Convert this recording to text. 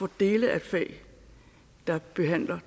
dele af et fag der behandler